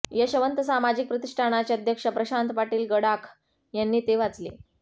यशवंत सामाजिक प्रतिष्ठानाचे अध्यक्ष प्रशांत पाटील गडाख यांनी ते वाचले